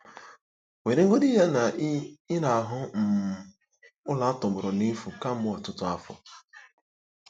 Weregodị ya na ị ị na-ahụ um ụlọ a tọgbọrọ n'efu kemgbe ọtụtụ afọ.